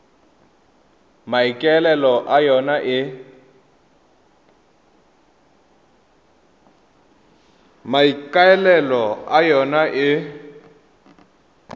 e maikaelelo a yona e